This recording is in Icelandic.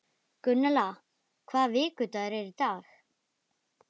Gunnella, hvaða vikudagur er í dag?